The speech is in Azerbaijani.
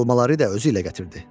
Almaları da özü ilə gətirdi.